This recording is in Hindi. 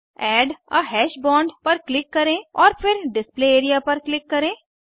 एड आ हाश बोंड पर क्लिक करें और फिर डिस्प्ले एरिया पर क्लिक करें